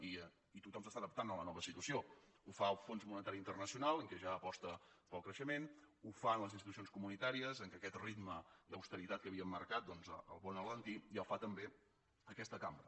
i tothom s’adapta a la nova situació ho fa el fons monetari internacional que ja aposta pel creixement ho fan les institucions comunitàries que aquest ritme d’austeritat que havien marcat el poden alentir i ho fa també aquesta cambra